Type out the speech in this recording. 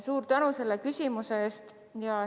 Suur tänu selle küsimuse eest!